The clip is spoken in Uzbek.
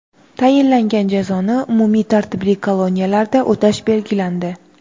Tayinlangan jazoni umumiy tartibli koloniyalarda o‘tash belgilandi.